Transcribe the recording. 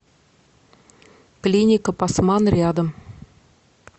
клиника пасман рядом